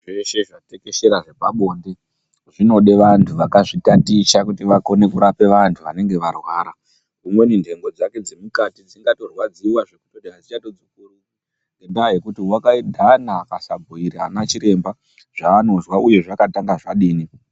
Zveshe zvatekeshera zvepabonde zvinode vanhu vakazvitaticha kuti vakone kurapa vanhu vanenge varwara umweni nhengo dzake dzemukati dzingatorwadziwa zvekuti adzichatorapiki ngendaa yekuti wakagana akasabhuyire anachiremba zvaanozwa uye zvakatanga zvadini.